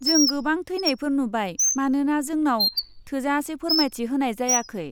जों गोबां थैनायफोर नुबाय मानोना जोंनाव थोजासे फोरमायथि होनाय जायाखै।